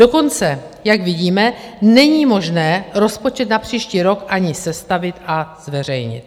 Dokonce, jak vidíme, není možné rozpočet na příští rok ani sestavit a zveřejnit.